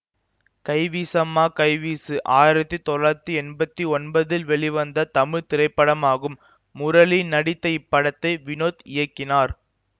கைவீசம்மா கைவீசு ஆயிரத்தி தொள்ளாயிரத்தி எம்பத்தி ஒன்பதில் வெளிவந்த தமிழ் திரைப்படமாகும் முரளி நடித்த இப்படத்தை வினோத் இயக்கினார்